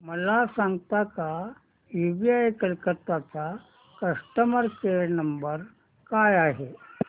मला सांगता का यूबीआय कोलकता चा कस्टमर केयर नंबर काय आहे